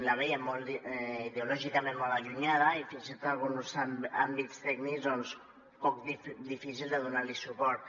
la vèiem ideològicament molt allunyada i fins i tot alguns àmbits tècnics difícils de donar los suport